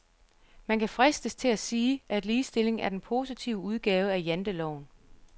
Man kan fristes, til at sige, at ligestilling er den positive udgave af janteloven.